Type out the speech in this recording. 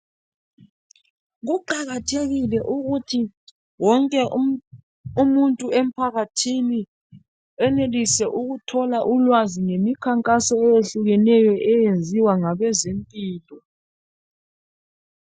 Kuqakathekile ukuthi wonke umuntu emphakathini enelise ukuthola ulwazi ngemikhankaso eyehlukeneyo eyenziwa ngabezempilo .